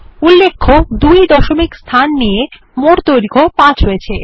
উল্লেখ্য দুই দশমিক স্থান নিয়ে মোট দৈর্ঘ্য পাঁচ হয়েছে